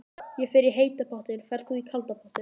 Ég fer í heita pottinn. Ferð þú í kalda pottinn?